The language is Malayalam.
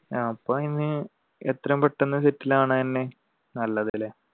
അപ്പൊ ഇനി എത്രയും പെട്ടെന്നു settle ആവണ തന്നെ നല്ലതല്ലേ